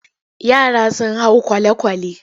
Yara sun hau kwale-kwale.